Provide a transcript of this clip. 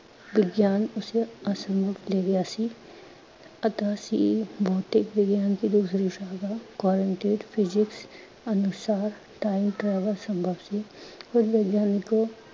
ਵਿਗਿਆਨ ਉਸੇ ਅਸਂਭਵ ਲੇ ਗਿਆ ਸੀ, ਪਤਾ ਸੀ ਭੌਤਿਕ ਵਿਗਿਆਨ ਕੀ ਦੂਸਰੀ ਸ਼ਾਖਾ physics ਅਨੁਸਾਰ time travel ਸੰਭਵ ਸੀ। ਫਿਰ ਵਿਗਿਆਨਿਕੋਂ